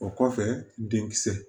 O kɔfɛ denkisɛ